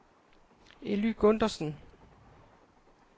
Elly Gundersen